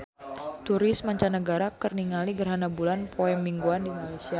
Turis mancanagara keur ningali gerhana bulan poe Minggon di Malaysia